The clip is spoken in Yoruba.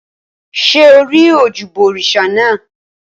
Ṣé o rí ojúbọ òrìṣà naa?